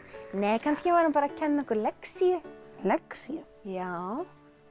kannski var hann bara að kenna okkur lexíu lexíu já